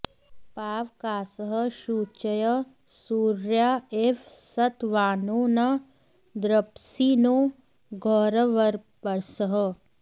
पा॒व॒कासः॒ शुच॑यः॒ सूर्या॑ इव॒ सत्वा॑नो॒ न द्र॒प्सिनो॑ घो॒रव॑र्पसः